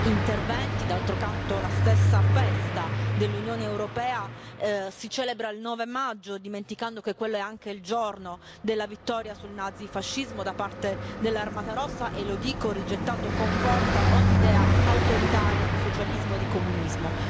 interventi. D'altro canto la stessa festa dell'Unione europea si celebra il 9 maggio, dimenticando che quello è anche il giorno della vittoria sul nazifascismo da parte dell'Armata Rossa e lo dico rigettando con forza ogni idea autoritaria di socialismo di comunismo.